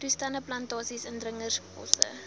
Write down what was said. toestande plantasies indringerbosse